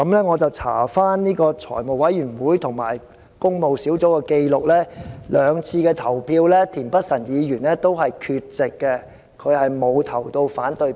我翻查財務委員會及工務小組委員會的紀錄，田議員在兩次會議投票都是缺席的，並沒有投下反對票。